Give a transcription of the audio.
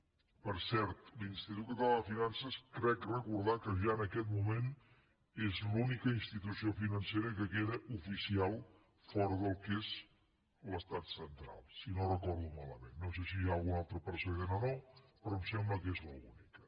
per cert l’institut català de finances crec recordar que ja en aquest moment és l’única institució financera que queda oficial fora del que és l’estat central si no ho recordo malament no sé si hi ha algun altre precedent o no però em sembla que és l’única